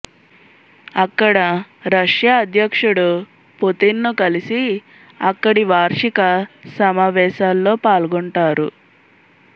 అక్కడ రష్యా అధ్యక్షుడు పుతిన్ ను కలిసి అక్కడి వార్షిక సమావేశాల్లో పాల్గొంటారు